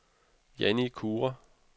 Janni Kure